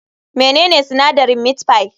Menene sinadarin meat pie?